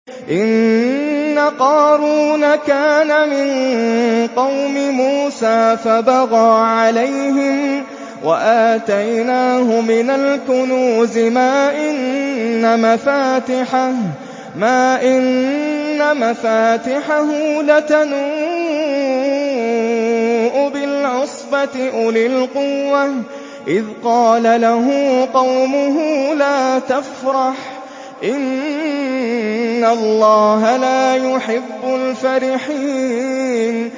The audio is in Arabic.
۞ إِنَّ قَارُونَ كَانَ مِن قَوْمِ مُوسَىٰ فَبَغَىٰ عَلَيْهِمْ ۖ وَآتَيْنَاهُ مِنَ الْكُنُوزِ مَا إِنَّ مَفَاتِحَهُ لَتَنُوءُ بِالْعُصْبَةِ أُولِي الْقُوَّةِ إِذْ قَالَ لَهُ قَوْمُهُ لَا تَفْرَحْ ۖ إِنَّ اللَّهَ لَا يُحِبُّ الْفَرِحِينَ